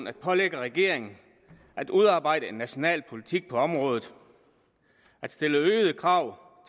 at pålægge regeringen at udarbejde en national politik på området at stille øgede krav